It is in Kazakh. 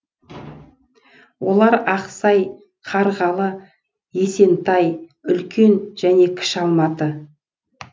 олар ақсай қарғалы есентай үлкен және кіші алматы